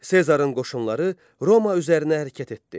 Sezarın qoşunları Roma üzərinə hərəkət etdi.